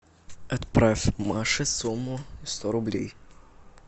отправь маше сумму сто рублей